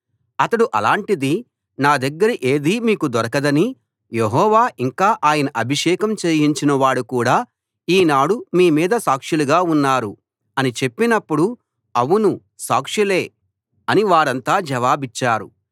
అతడు అలాంటిది నా దగ్గర ఏదీ మీకు దొరకదని యెహోవా ఇంకా ఆయన అభిషేకం చేయించినవాడు కూడా ఈనాడు మీ మీద సాక్షులుగా ఉన్నారు అని చెప్పినప్పుడు అవును సాక్షులే అని వారంతా జవాబిచ్చారు